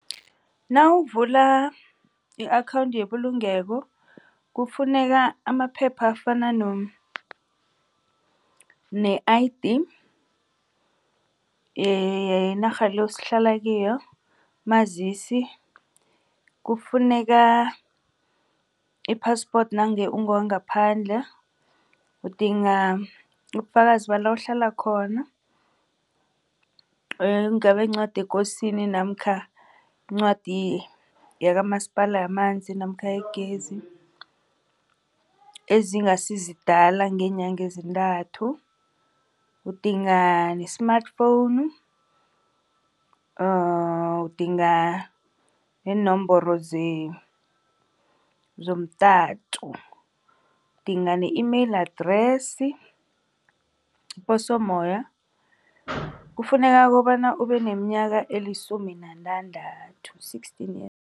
Nawuvula i-akhawundi yebulungelo kufuneka amaphepha afana ne-I_D_ yenarha le esihlala kiyo umazisi. Kufuneka i-passport nange ungowangaphandle, udinga ubufakazi bala uhlala khona. Kungaba yincwadi yekosini, namkha iincwadi yakamasipala yamanzi, namkha igezi ezingasizidala ngeenyanga ezintathu. Udinga ne-smartphone, udinga neenomboro zomtato, udingani ne-email address, iposo moya. Kufuneka kobana ubeneminyaka elisumi nantandathu sixteen